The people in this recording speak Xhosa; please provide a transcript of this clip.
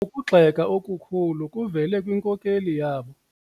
Ukugxeka okukhulu kuvele kwinkokeli yabo.